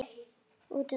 Út um allt.